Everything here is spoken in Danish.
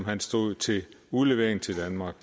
han stod til udlevering til danmark